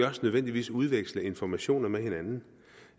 nødvendigvis også udveksle informationer med hinanden